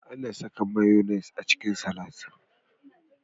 Akan saka mayonaise a cikin salak.